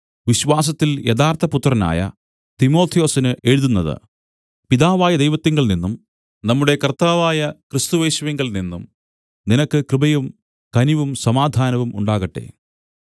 വിശ്വാസത്തിൽ യഥാർത്ഥപുത്രനായ തിമൊഥെയൊസിന് എഴുതുന്നത് പിതാവായ ദൈവത്തിങ്കൽനിന്നും നമ്മുടെ കർത്താവായ ക്രിസ്തുയേശുവിങ്കൽനിന്നും നിനക്ക് കൃപയും കനിവും സമാധാനവും ഉണ്ടാകട്ടെ